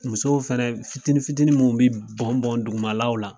Musow fɛnɛ fitini fitinin minnu bɛ bɔn bɔn dugumalaw la.